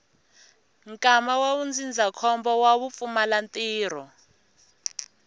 nkwama wa ndzindzakhombo wa vupfumalantirho